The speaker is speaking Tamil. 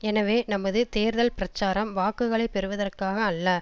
எனவே நமது தேர்தல் பிரச்சாரம் வாக்குகளை பெறுவதற்காக அல்ல